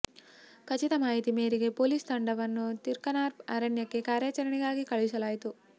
ಖಚಿತ ಮಾಹಿತಿ ಮೇರೆಗೆ ಪೊಲೀಸ್ ತಂಡವನ್ನು ತಿರ್ಕನಾರ್ ಅರಣ್ಯಕ್ಕೆ ಕಾರ್ಯಾಚರಣೆಗಾಗಿ ಕಳುಹಿಸಲಾಯಿತು